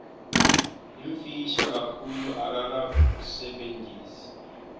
yimfisha kakhulu akakasebentisi